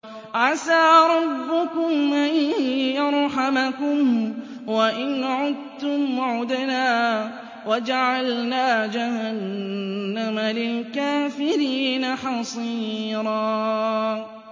عَسَىٰ رَبُّكُمْ أَن يَرْحَمَكُمْ ۚ وَإِنْ عُدتُّمْ عُدْنَا ۘ وَجَعَلْنَا جَهَنَّمَ لِلْكَافِرِينَ حَصِيرًا